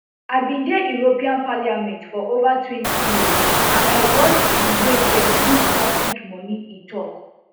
i bin dey european parliament for ova twenty years and i watch di way dem use public money e tok